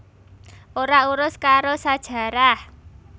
Ora urus karo sajarah